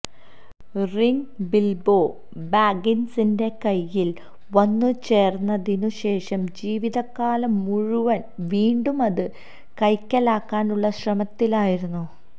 ring Bilbo ബാഗ്ഗിൻസിന്റെ കൈയിൽ വന്നുചേർന്നതിനു ശേഷം ജീവിതകാലം മുഴുവൻ വീണ്ടും അത് കൈക്കലാക്കാൻ ഉള്ള ശ്രമത്തിലായിരുന്നു